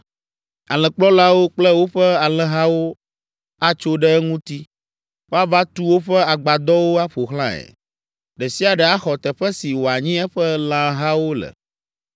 Alẽkplɔlawo kple woƒe alẽhawo atso ɖe eŋuti, woava tu woƒe agbadɔwo aƒo xlãe, ɖe sia ɖe axɔ teƒe si wòanyi eƒe lãhawo le.”